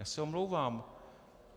Já se omlouvám.